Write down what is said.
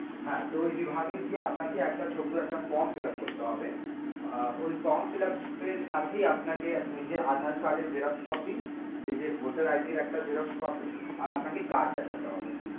হ্যাঁ তো ওই বিভাগে গিয়ে আপনাকে ছোট্ট একটা form fillup করতে হবে, আর ওই form fillup এর সাথেই আপনাকে নিজের aadhaar card এর xerox copy নিজের voter ID এড় একটা xerox copy আর আপনাকে card দেখাতে হবে।